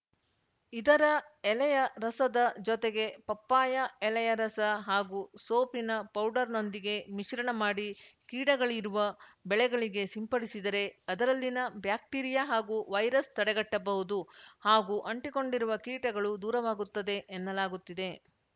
ಇದರ ಎಲೆಯ ರಸದ ಜೊತೆಗೆ ಪಪ್ಪಾಯ ಎಲೆಯ ರಸ ಹಾಗೂ ಸೋಪಿನ ಪೌಡರ್‌ನೊಂದಿಗೆ ಮಿಶ್ರಣ ಮಾಡಿ ಕೀಡಗಳಿರುವ ಬೆಳೆಗಳಿಗೆ ಸಿಂಪಡಿಸಿದರೆ ಅದರಲ್ಲಿನ ಬ್ಯಾಕ್ಟಿರಿಯಾ ಹಾಗೂ ವೈರಸ್‌ ತಡೆಗಟ್ಟಬಹುದು ಹಾಗೂ ಅಂಟಿಕೊಂಡಿರುವ ಕೀಟಗಳು ದೂರಾವಾಗುತ್ತದೆ ಎನ್ನಲಾಗುತ್ತದೆ